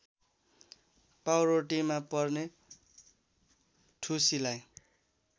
पाउरोटीमा पर्ने ढुसीलाई